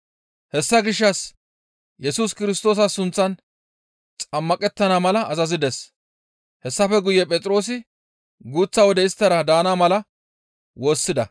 Hessa gishshas Yesus Kirstoosa sunththan xammaqettana mala azazides; hessafe guye Phexroosi guuththa wode isttara daana mala woossida.